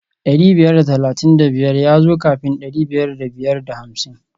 Dari biyar da talatin da biyar ya zo kafin dari biyar da biyar da hamsin